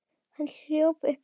Hann hjólaði uppí Hlíðar.